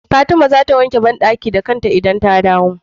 Fatima zata wanke banɗaki da kanta idan ta dawo